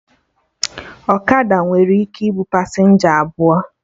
Ọkada nwere ike ịbụ pasenja abụọ